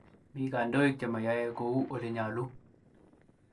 Mii kandoik chemayae kouu olenyoluu